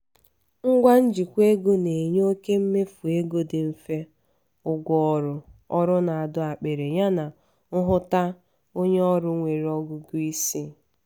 ngwa njikwa ego na-enye oke mmefu ego dị mfe ụgwọ ọrụ ọrụ na-adọ akpiri yana nhụta onye ọrụ nwere ọgụgụ isi